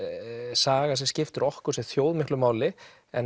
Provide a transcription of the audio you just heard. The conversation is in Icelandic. saga sem skiptir okkur sem þjóð miklu máli